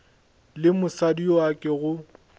le mosadi yo a kego